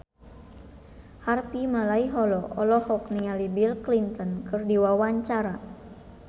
Harvey Malaiholo olohok ningali Bill Clinton keur diwawancara